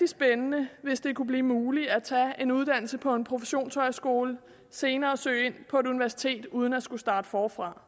spændende hvis det kunne blive muligt at tage en uddannelse på en professionshøjskole og senere søge ind på et universitet uden at skulle starte forfra